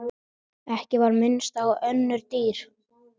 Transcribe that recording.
Ekki var minnst á önnur dýr.